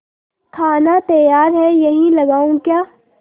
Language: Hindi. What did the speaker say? खाना तैयार है यहीं लगाऊँ क्या